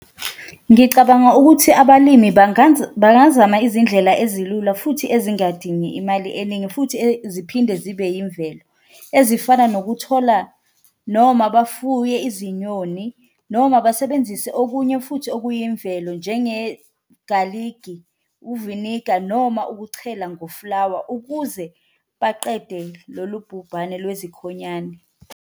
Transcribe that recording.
Ngicabanga ukuthi abalimi bangazama izindlela ezilula futhi ezingadini imali eningi futhi ziphinde zibe imvelo, ezifana nokuthola noma bafuye izinyoni noma basebenzise okunye futhi okuyimvelo. Njenge-garlic-i, uviniga noma ukuchela ngoflawa ukuze baqede lolu bhubhane lwezikhonyane.